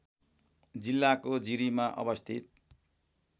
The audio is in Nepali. जिल्लाको जिरीमा अवस्थित